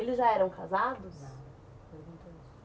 Eles já eram casados?